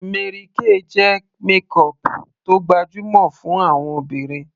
Mary Kay jẹ́ makeup tó gbajúmọ̀ fún àwọn obìnrin